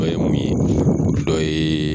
Dɔ ye mun ye dɔ ye